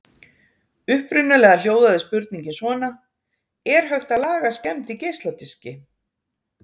Upprunalega hljóðaði spurningin svona: Er hægt að laga skemmd í geisladiski?